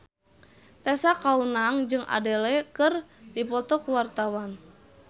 Tessa Kaunang jeung Adele keur dipoto ku wartawan